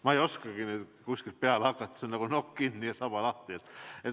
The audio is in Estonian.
Ma ei oskagi nüüd kuskilt peale hakata, see on nagu nokk kinni ja saba lahti.